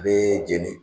Bɛɛ jeni